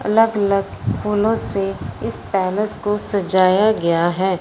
अलग-अलग फूलों से इस पैलेस को सजाया गया है।